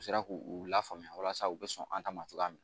U sera k'u lafaamuya walasa u bɛ sɔn an ta ma cogoya min na